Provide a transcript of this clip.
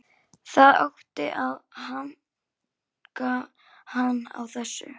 Það átti að hanka hann á þessu.